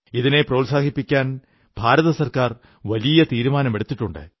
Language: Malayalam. ഇതിനെ പ്രോത്സാഹിപ്പിക്കാൻ ഭാരതസർക്കാർ വലിയ തീരുമാനമെടുത്തിട്ടുണ്ട്